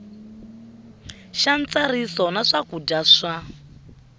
xa ntsariso ya swakudya swa